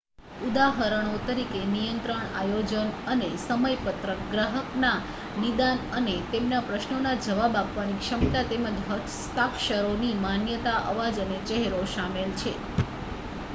ઉદાહરણો તરીકે નિયંત્રણ આયોજન અને સમયપત્રક ગ્રાહકના નિદાન અને તેમના પ્રશ્નોના જવાબ આપવાની ક્ષમતા તેમજ હસ્તાક્ષરોની માન્યતા અવાજ અને ચહેરો શામેલ છે